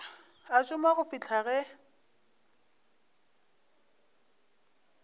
a šoma go fihla ge